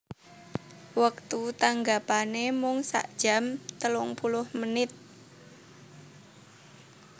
Wektu tanggapanè mung sakjam telungpuluh menit